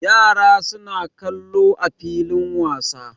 Yara suna kwallo a filin wasa.